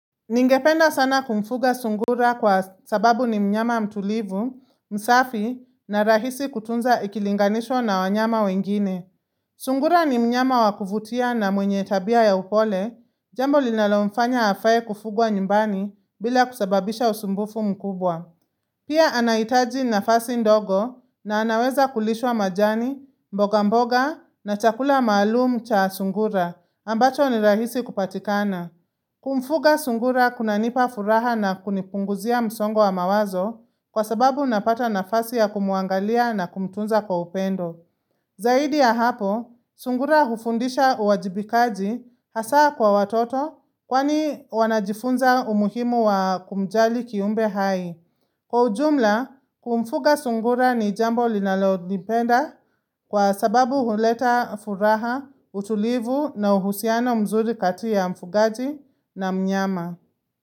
Ningependa sana kumfuga sungura kwa sababu ni mnyama mtulivu, msafi na rahisi kutunza ikilinganishwa na wanyama wengine. Sungura ni mnyama wakuvutia na mwenye tabia ya upole, jambo linalomfanya afae kufugwa nyumbani bila kusababisha usumbufu mkubwa. Pia anaitaji na fasi ndogo na anaweza kulishwa majani, mboga mboga na chakula maalumu cha sungura ambacho ni rahisi kupatikana. Kumfuga sungura kuna nipa furaha na kunipunguzia msongo wa mawazo kwa sababu napata nafasi ya kumuangalia na kumtunza kwa upendo. Zaidi ya hapo, sungura hufundisha uwajibikaji hasa kwa watoto kwani wanajifunza umuhimu wa kumjali kiumbe hai. Kwa ujumla, kumfuga sungura ni jambo linalo nipenda kwa sababu huleta furaha, utulivu na uhusiano mzuri kati ya mfugaji na mnyama.